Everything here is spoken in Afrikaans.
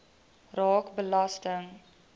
raak belasting